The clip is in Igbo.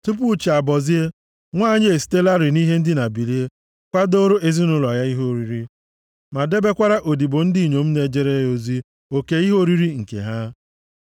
Tupu chi abọzie, nwanyị a esitelarị nʼihe ndina bilie kwadooro ezinaụlọ ya ihe oriri, ma debekwara odibo ndị inyom na-ejere ya ozi oke ihe oriri nke ha.